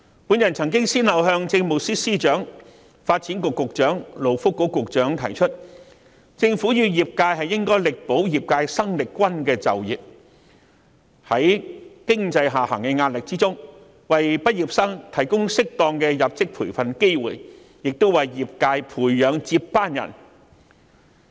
我曾先後向政務司司長、發展局局長和勞工及福利局局長提出，政府與業界應力保業界生力軍的就業機會，同時在經濟下行的壓力下，為畢業生提供適當的入職培訓，從而為業界培養接班人。